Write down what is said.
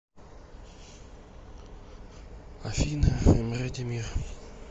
афина эмре демир